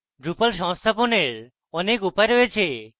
drupal সংস্থাপনের অনেক উপায় রয়েছে